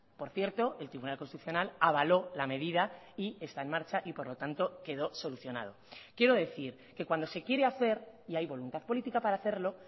por cierto el tribunal constitucional avaló la medida y está en marcha y por lo tanto quedó solucionado quiero decir que cuando se quiere hacer y hay voluntad política para hacerlo